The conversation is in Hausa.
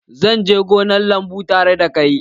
Zan je gonar lambu tare da kai